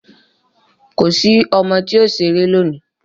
Kò sí ọmọ tí o sẹ̀rẹ̀ lóní!